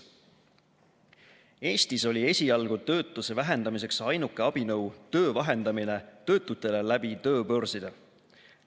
Eestis oli esialgu töötuse vähendamiseks ainuke abinõu töö vahendamine töötutele läbi tööbörside.